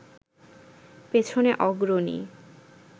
পেছনে অগ্রণী